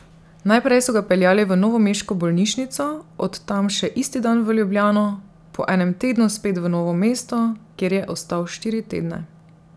Najprej so ga peljali v novomeško bolnišnico, od tam še isti dan v Ljubljano, po enem tednu spet v Novo mesto, kjer je ostal štiri tedne.